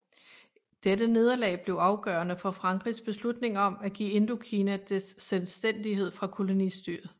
Dette nederlag blev afgørende for Frankrigs beslutning om at give Indokina dets selvstændighed fra kolonistyre